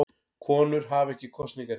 Konur hafa ekki kosningarétt.